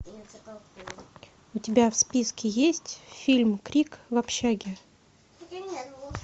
у тебя в списке есть фильм крик в общаге